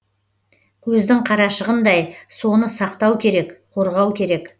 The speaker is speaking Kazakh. көздің қарашығындай соны сақтау керек қорғау керек